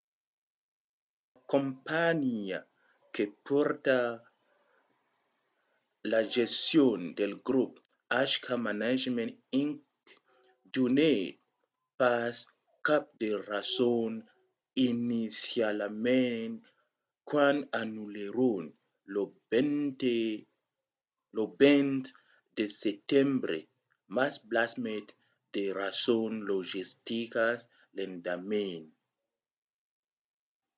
la companhiá que pòrta la gestion del grop hk management inc. donèt pas cap de rason inicialament quand anullèron lo 20 de setembre mas blasmèt de rasons logisticas l'endeman